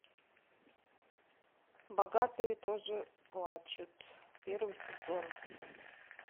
богатые тоже плачут первый сезон